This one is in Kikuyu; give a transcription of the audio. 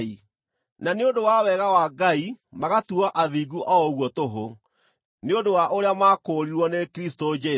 na nĩ ũndũ wa wega wa Ngai magatuuo athingu o ũguo tũhũ, nĩ ũndũ wa ũrĩa maakũũrirwo nĩ Kristũ Jesũ.